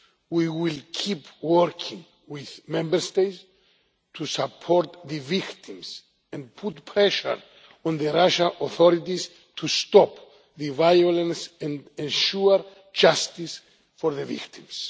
We will keep working with Member States to support the victims and put pressure on the Russian authorities to stop the violence and ensure justice for the victims.